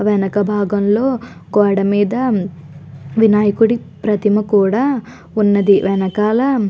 వెనక భాగంలో గోడమీద వినాయకుడి ప్రతిమ కూడా ఉంది. వెనకాల--